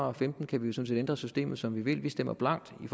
og femten kan vi sådan set ændre systemet som vi vil vi stemmer blankt i